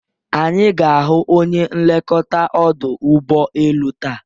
Anyi ga-ahụ onye nlekọta ọdụ ụbọelu taa